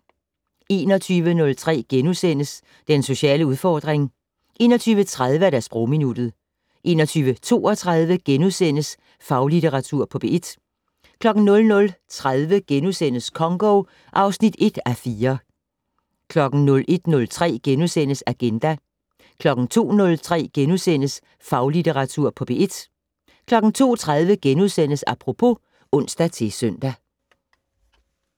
21:03: Den sociale udfordring * 21:30: Sprogminuttet 21:32: Faglitteratur på P1 * 00:30: Congo (1:4)* 01:03: Agenda * 02:03: Faglitteratur på P1 * 02:30: Apropos *(ons-søn)